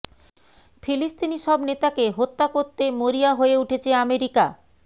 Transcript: ফিলিস্তিনি সব নেতাকে হত্যা করতে মরিয়া হয়ে উঠেছে আমেরিকা